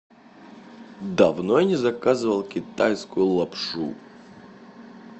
давно я не заказывал китайскую лапшу